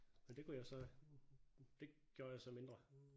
Men det kunne jeg så det gjorde jeg så bare mindre